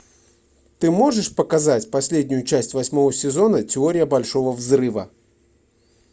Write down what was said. ты можешь показать последнюю часть восьмого сезона теория большого взрыва